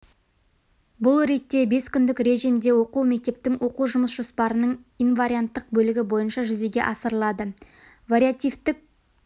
бұл ретте бес күндік режимде оқу мектептің оқу жұмыс жоспарының инварианттық бөлігі бойынша жүзеге асырылады вариативтік